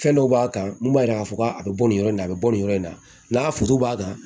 Fɛn dɔw b'a kan mun b'a yira k'a fɔ k'a be bɔ nin yɔrɔ in na a be bɔ nin yɔrɔ in na n'a furu b'a kan